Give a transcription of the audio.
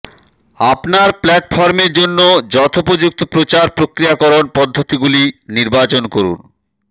আপনার প্ল্যাটফর্মের জন্য যথোপযুক্ত প্রচার প্রক্রিয়াকরণ পদ্ধতিগুলি নির্বাচন করুন